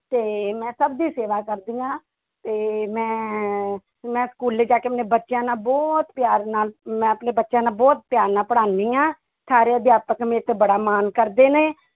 ਤੇ ਮੈਂ ਸਭ ਦੀ ਸੇਵਾ ਕਰਦੀ ਹਾਂ ਤੇ ਮੈਂ ਮੈਂ ਸਕੂਲੇ ਜਾ ਕੇ ਆਪਣੇ ਬੱਚਿਆਂ ਨਾਲ ਬਹੁਤ ਪਿਆਰ ਨਾਲ ਮੈਂ ਆਪਣੇ ਬੱਚਿਆਂ ਨਾਲ ਬਹੁਤ ਪਿਆਰ ਨਾਲ ਪੜ੍ਹਾਉਂਦੀ ਹਾਂ, ਸਾਰੇ ਅਧਿਆਪਕ ਮੇਰੇ ਤੇ ਬੜਾ ਮਾਣ ਕਰਦੇ ਨੇ।